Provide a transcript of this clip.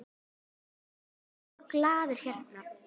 Ég er mjög glaður hérna.